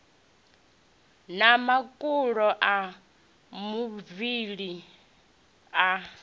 na makolo a muvhili a